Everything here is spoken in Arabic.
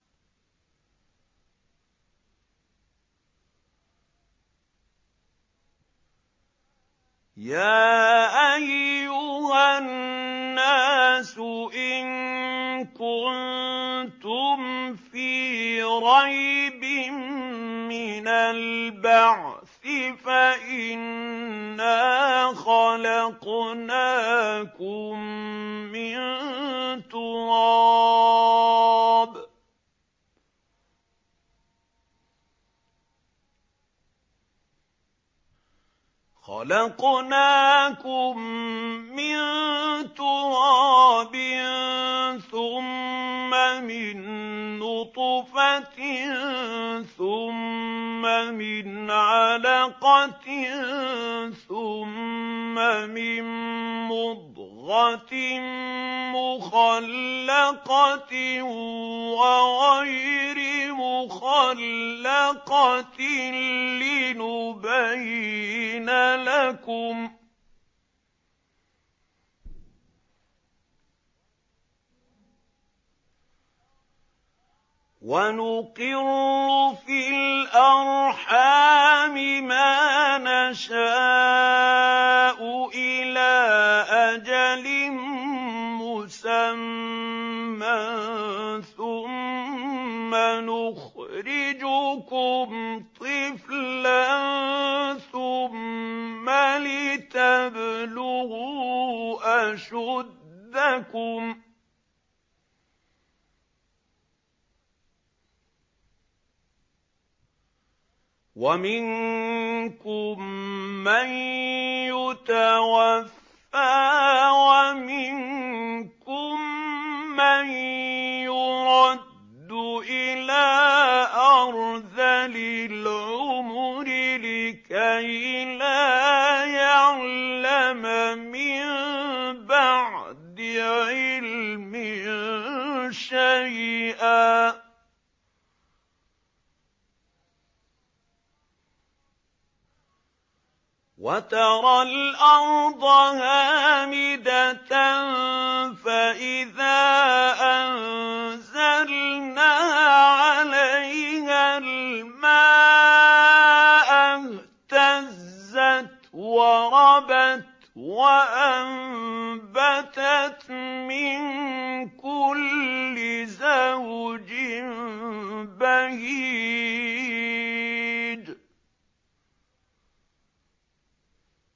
يَا أَيُّهَا النَّاسُ إِن كُنتُمْ فِي رَيْبٍ مِّنَ الْبَعْثِ فَإِنَّا خَلَقْنَاكُم مِّن تُرَابٍ ثُمَّ مِن نُّطْفَةٍ ثُمَّ مِنْ عَلَقَةٍ ثُمَّ مِن مُّضْغَةٍ مُّخَلَّقَةٍ وَغَيْرِ مُخَلَّقَةٍ لِّنُبَيِّنَ لَكُمْ ۚ وَنُقِرُّ فِي الْأَرْحَامِ مَا نَشَاءُ إِلَىٰ أَجَلٍ مُّسَمًّى ثُمَّ نُخْرِجُكُمْ طِفْلًا ثُمَّ لِتَبْلُغُوا أَشُدَّكُمْ ۖ وَمِنكُم مَّن يُتَوَفَّىٰ وَمِنكُم مَّن يُرَدُّ إِلَىٰ أَرْذَلِ الْعُمُرِ لِكَيْلَا يَعْلَمَ مِن بَعْدِ عِلْمٍ شَيْئًا ۚ وَتَرَى الْأَرْضَ هَامِدَةً فَإِذَا أَنزَلْنَا عَلَيْهَا الْمَاءَ اهْتَزَّتْ وَرَبَتْ وَأَنبَتَتْ مِن كُلِّ زَوْجٍ بَهِيجٍ